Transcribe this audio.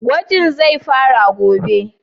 Gwajin zai faru gobe?